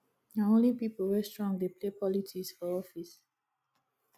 na only pipo wey strong dey play politics for office